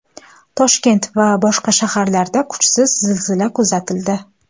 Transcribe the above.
Toshkent va boshqa shaharlarda kuchsiz zilzila kuzatildi.